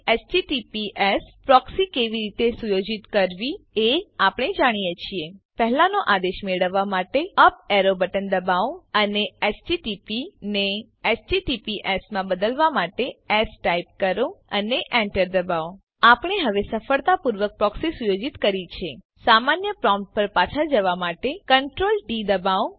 HTTPS proxy કેવી રીતે સુયોજિત કરવી એ આપણે જાણીએ છીએ પહેલાનો આદેશ મેળવવાં માટે અપ એરો બટન દબાવો અને એચટીટીપી ને એચટીટીપીએસ માં બદલવા માટે એસ ટાઈપ કરો અને એન્ટર દબાવો આપણે હવે સફળતાપૂર્વક પ્રોક્સી સુયોજિત કરી છે સામાન્ય પ્રોમ્પ્ટ પર પાછા જવા માટે Ctrl ડી દબાવો